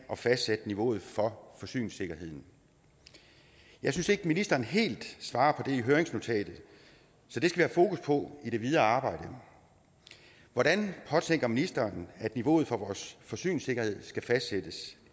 at fastsætte niveauet for forsyningssikkerheden jeg synes ikke ministeren helt svarer på det i høringsnotatet så det skal fokus på i det videre arbejde hvordan påtænker ministeren at niveauet for vores forsyningssikkerhed skal fastsættes